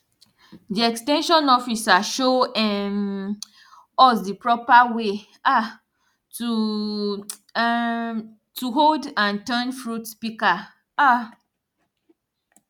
di ex ten sion officer show um us di propa way um to um to hold and turn fruit pika um